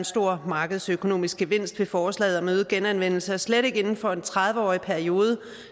stor markedsøkonomisk gevinst ved forslaget om øget genanvendelse og slet ikke inden for en tredive årig periode